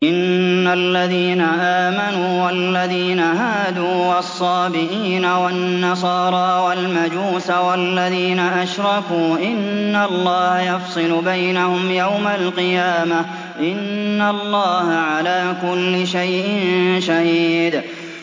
إِنَّ الَّذِينَ آمَنُوا وَالَّذِينَ هَادُوا وَالصَّابِئِينَ وَالنَّصَارَىٰ وَالْمَجُوسَ وَالَّذِينَ أَشْرَكُوا إِنَّ اللَّهَ يَفْصِلُ بَيْنَهُمْ يَوْمَ الْقِيَامَةِ ۚ إِنَّ اللَّهَ عَلَىٰ كُلِّ شَيْءٍ شَهِيدٌ